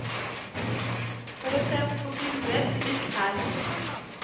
For å se på bilder, klikk her.